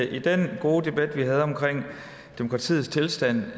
i den gode debat vi havde om demokratiets tilstand